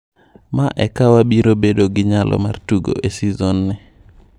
"Ma eka wabiro bedo gi nyalo mar tugo e seson ni".